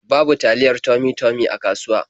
Babu taliya Tummy-Tummy a kasuwa.